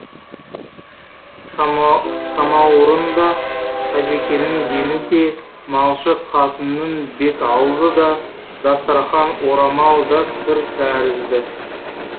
самауырын да қажікеннің жеңі де малшы қатынның бет аузы да дастарқан орамал да кір тәрізді